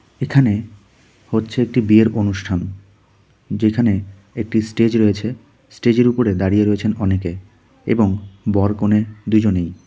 এখানে হচ্ছে একটি বিয়ের অনুষ্ঠান যেখানে একটি স্টেজ রয়েছে স্টেজের উপরে দাঁড়িয়ে রয়েছেন অনেকে এবং বর কনে দুজনেই .